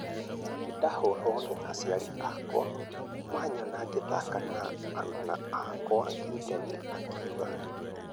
Na nĩndahoragwo nĩ aciari akwa manyona ngĩthaka na aruna akwa," gideon akiuga